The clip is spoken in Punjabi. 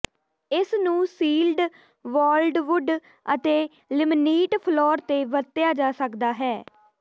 ਇਸ ਨੂੰ ਸੀਲਡ ਵਾਲਡਵੁੱਡ ਅਤੇ ਲਮਿਨੀਟ ਫਲੋਰ ਤੇ ਵਰਤਿਆ ਜਾ ਸਕਦਾ ਹੈ